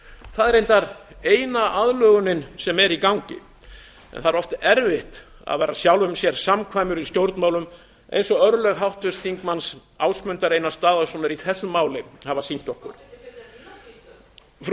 það er reyndar eina aðlögunin sem er í gangi það er oft erfitt að vera sjálfum sér samkvæmur í stjórnmálum eins og örlög háttvirts þingmanns ásmundar einars daðasonar í þessu máli hafa sýnt okkur telur það frú